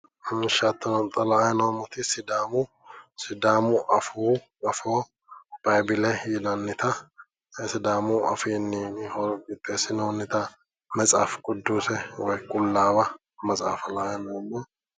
Xa la'anni noommti sidaamu afoo bibile yinannita sidaamu afiinni qixxeesinoonnita metsafi qiduuse woyi qullaawa maxaafa la'anni noommo.